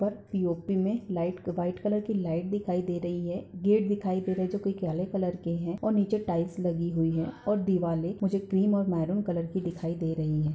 पर पी.ओ.पी. मे light white colour की लाइट दिखाई दे रही है गेट दिखाई दे रहे है जो की हरे कलर के है और नीचे टाइल्स लगी हुई है और दिवाले मुझे क्रीम और मैरून कलर की दिखाई दे रही है।